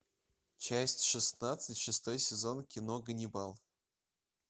часть шестнадцать шестой сезон кино ганнибал